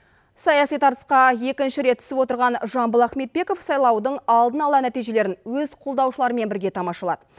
саяси тартысқа екінші рет түсіп отырған жамбыл ахметбеков сайлаудың алдын ала нәтижелерін өз қолдаушыларымен бірге тамашалады